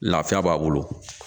Lafiya b'a bolo